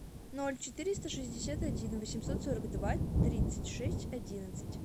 ноль четыреста шестьдесят один восемьсот сорок два тридцать шесть одиннадцать